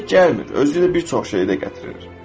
O tək gəlmir, özü ilə bir çox şeyi də gətirir.